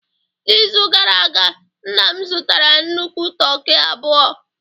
N'izu gara aga, nna m zụtara nnukwu toki abụọ